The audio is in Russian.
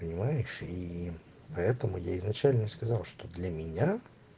понимаешь и поэтому я изначально сказал что для меня